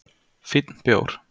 Fínn bjór